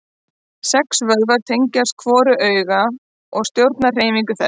Sex vöðvar tengjast hvoru auga og stjórna hreyfingum þess.